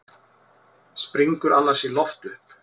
Springur annars í loft upp.